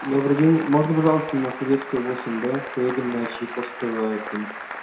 добрый день можно пожалуйста на советскую восемь б поедем на чайковского семьдесят